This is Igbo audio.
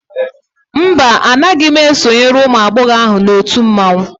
mba, Anaghị m esonyere ụmụ agbọghọ na otu mmanwụ